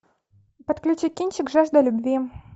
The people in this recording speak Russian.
подключи кинчик жажда любви